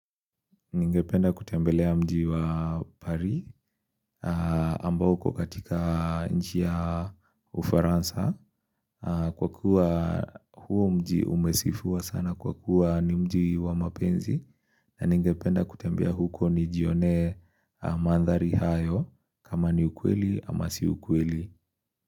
Ningependa kutembelea mji wa pari ambao huko katika nchi ya ufaransa kwa kuwa huo mji umesifua sana kwa kuwa ni mji wa mapenzi na ningependa kutembea huko ni jione mandhari hayo kama ni ukweli ama si ukweli.